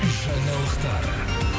жаңалықтар